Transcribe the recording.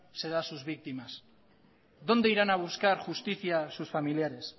se da a sus víctimas dónde irán a buscar justicia sus familiares